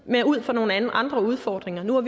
ud fra nogle andre udfordringer nu er